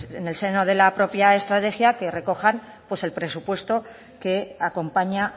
en el seno de la propia estrategia que recojan el presupuesto que acompaña